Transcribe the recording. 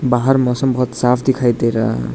बाहर मौसम बहुत साफ दिखाई दे रहा--